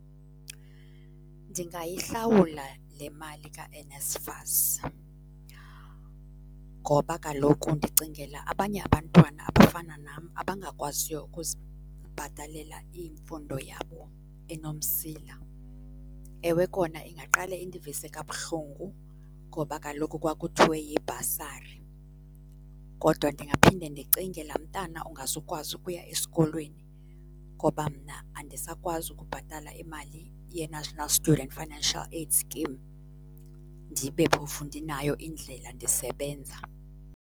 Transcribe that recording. Ndingayihlawula le mali kaNSFAS ngoba kaloku ndicingela abanye abantwana abafana nam abangakwaziyo ukuzibhatalela imfundo yabo enomsila. Ewe kona ingaqale indivise kabuhlungu ngoba kaloku kwakuthiwe yibhasari. Kodwa ndingaphinda ndicinge laa mntana ungazukwazi ukuya esikolweni ngoba mna andisakwazi ukubhatala imali yeNational Student Financial Aid Scheme ndibe phofu ndinayo indlela ndisebenza.